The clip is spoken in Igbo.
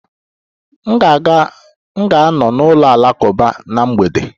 M ga-anọ n'ụlọ alakụba na mgbede